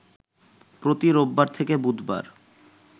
প্রতি রোববার থেকে বুধবার